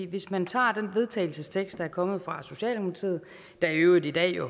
hvis man tager den vedtagelsestekst der er kommet fra socialdemokratiet der jo i øvrigt i dag